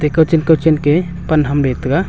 te kawchen kawchen ke pan ham be tega.